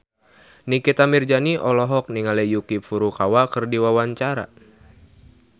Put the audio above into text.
Nikita Mirzani olohok ningali Yuki Furukawa keur diwawancara